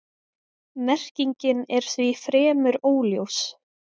Merkingin er því fremur óljós.